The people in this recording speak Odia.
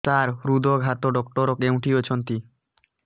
ସାର ହୃଦଘାତ ଡକ୍ଟର କେଉଁଠି ଅଛନ୍ତି